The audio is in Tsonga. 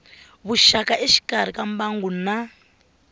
vuxaka exikarhi ka mbangu na